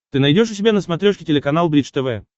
ты найдешь у себя на смотрешке телеканал бридж тв